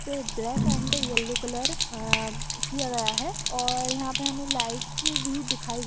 पे black and yellow colour आ किया गया है और यहाँ पे हमें लाइट्स भी दिखाई --